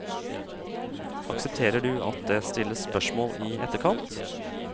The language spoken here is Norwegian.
Aksepterer du at det stilles spørsmål i etterkant?